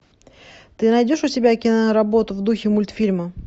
ты найдешь у себя киноработу в духе мультфильма